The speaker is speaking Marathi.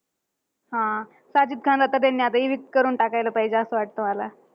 हा. साजिद खानला तर आता त्यांनी evict करून टाकायला पाहिजे, असं वाटतं मला.